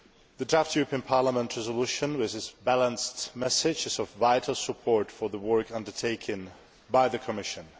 The draft European Parliament resolution, with its balanced message, is of vital support for the work undertaken by the Commission.